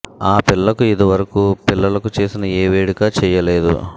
ఆ పిల్లకు ఇది వరకు పిల్లలకు చేసిన ఏ వేడుకా చెయ్యలేదు